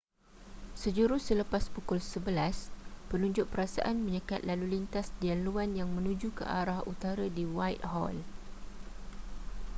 sejurus selepas pukul 11:00 penunjuk perasaan menyekat lalu lintas di laluan yang menuju ke arah utara di whitehall